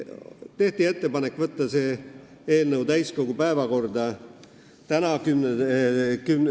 Tehti ettepanek võtta see eelnõu täiskogu päevakorda tänaseks.